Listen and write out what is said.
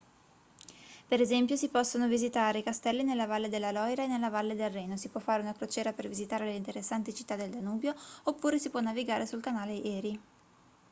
per esempio si possono visitare i castelli nella valle della loira e nella valle del reno si può fare una crociera per visitare le interessanti città del danubio oppure si può navigare sul canale erie